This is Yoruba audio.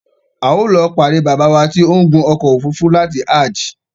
A ó lọ pàdé Baba wa ti o ń gun ọkọ̀ òfúrúúfú láti ájí